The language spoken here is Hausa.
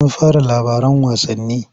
An fara labaran wasannin?